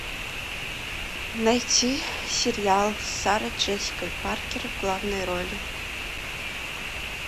найти сериал с сарой джессикой паркер в главной роли